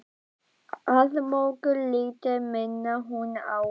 Að mörgu leyti minnir hún á